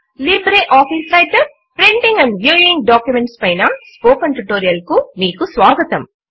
LibreOffice Writer printing and viewing documents పైన spoken tutorial కు మీకు స్వాగతము